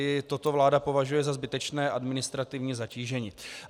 I toto vláda považuje za zbytečné administrativní zatížení.